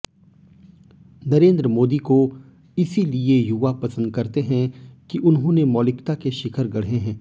नरेन्द्र मोदी को इसीलिये युवा पसन्द करते हैं कि उन्होंने मौलिकता के शिखर गढ़े हैं